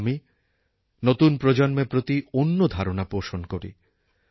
কিন্তু আমি নতুন প্রজন্মের প্রতি অন্য ধারণা পোষণ করি